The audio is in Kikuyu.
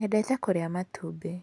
Nĩnyendete kũrĩa matumbĩ.